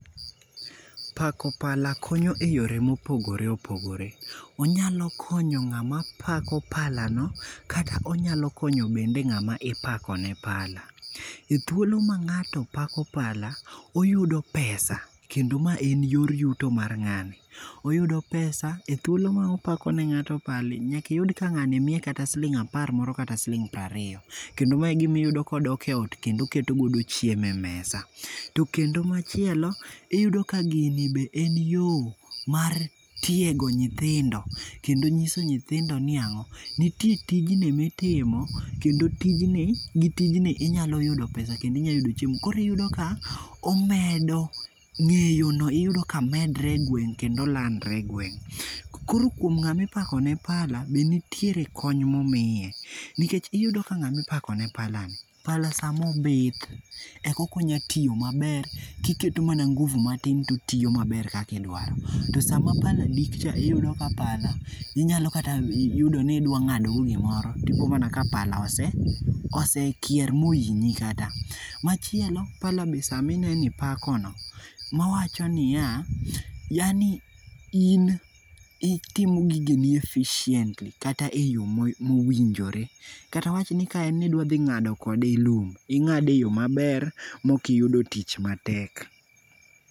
Pako pala konyo e yore mopogore opogore. Onyalo konyo ng'ama pako palano kata onyalo konyo bende ng'at mipako ne pala. Pala, ethuolo ma ng'ato pako pala, oyudo pesa kendo en yor yuto mar ng'ani. Oyudo pesa ethuolo ma opako ne ng'ato pala, nyaka iyud ka ng'ani miye kata siling' apar moro kata siling' piero ariyo. Kendo ma igima iyudo ka odok e ot kendo oketo godo chiemo e mesa. To kendo machielo, iyudo ka gini be en yo mar tiego nyithindo kendo nyiso nyithindo ni ang'o. Nitie tijegi mitimo kendo tijni, gi tijni inyalo yudo pesa kendo inyalo yudo chiemo. Koro iyudo ka omedo ng'eyono iyudo ka medre e gweng' kendo landre egweng'. Koro kuom ng'ama ipakone pala be nitiere kony momiye. Nikech iyudo ka ng'ami pakone pala ni, pala sama obith eka onyalo tiyo maber kiketo mana ngufu matin to otiyo maber kaka idwaro. To sama pala dikcha iyudo ka pala inyalo kata yudo ni idwa ng'ado go gimoro, ipo mana ka pala ose kier mohinyi. Machielo pala be sama ineno ipakono, awacho niya, yaani in itimo gigeni efficiently kata eyo mowinjore. Kata awach ni ka en ni idwa dhi ng'ado kode lum, ing'ado eyo maber maok iyudo tich matek.